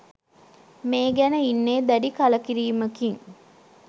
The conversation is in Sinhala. මේ ගැන ඉන්නේ දැඩි කළකිරීමකින්